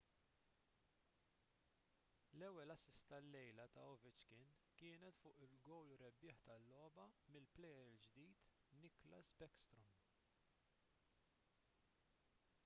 l-ewwel assist tal-lejla ta' ovechkin kienet fuq il-gowl rebbieħ tal-logħba mill-plejer il-ġdid nicklas backstrom